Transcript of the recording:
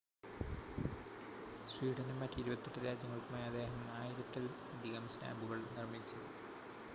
സ്വീഡനും മറ്റ് 28 രാജ്യങ്ങൾക്കുമായി അദ്ദേഹം 1,000-ത്തിൽ അധികം സ്റ്റാമ്പുകൾ നിർമ്മിച്ചു